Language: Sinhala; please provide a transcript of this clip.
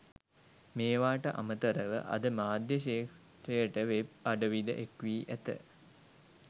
මේවාට අමතරව අද මාධ්‍ය ක්‍ෂේත්‍රයට වෙබ් අඩවිද එක්වී ඇත.